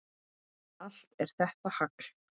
Allt er þetta hagl.